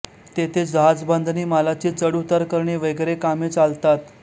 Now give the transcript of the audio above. तेथे जहाजबाधंणी मालाची चढउतार करणे वगैरे कामे चालतात